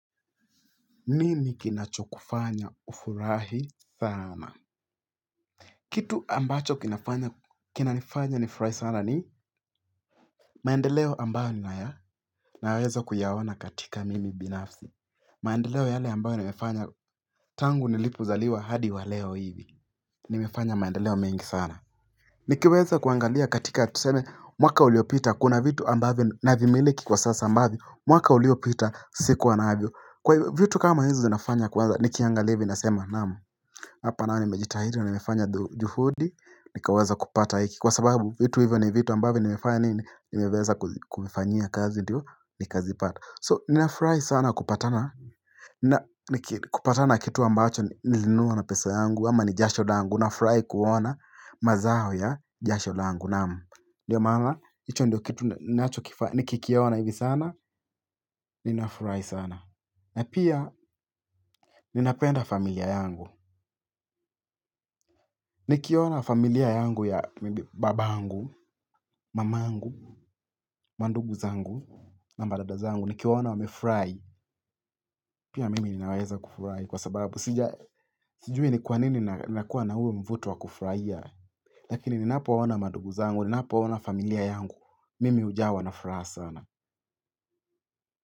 Ninii kinacho kufanya ufurahi sana kitu ambacho kinafanya kinanifanya ni furahi sana ni maendeleo ambayo ninaya naweza kuyaowana katika mimi binafsi maendeleo yale ambayo nimefanya tangu nilipozaliwa hadi wa leo hivi nimefanya maendeleo mengi sana Nikiweza kuangalia katika tuseme mwaka uliopita kuna vitu ambavyo navimiliki kwa sasa ambavyo mwaka uliopita siku wanavyo kwa vitu kama hizi zinafanya kwaza nikiangalia hivi nasema naam Hapa nao nimejita nimefanya juhudi nikaweza kupata hiki kwa sababu vitu hivyo ni vitu ambavyo nimefanya nimeweza kufanyia kazi ndio nikazipata So ninafurai sana kupatana na kupatana na kitu ambacho nilinunua na pesa yangu ama nijasho dangu nafurahi kuona mazaho ya jasho langu naamu Ndiyo maana hicho ndio kitu nikikiaona hivi sana ninafurahi sana na pia ninapenda familia yangu Nikiona familia yangu ya baba yangu, mamangu, mandugu zangu na madada zangu. Nikiowaona wamefurahi, pia mimi ninaweza kufurahi kwa sababu. Sijui ni kwa nini nina kuwa na huo mvuto wa kufurahia. Lakini ninapowona mandugu zangu, ninapowona familia yangu. Mimi hujawa na furaha sana.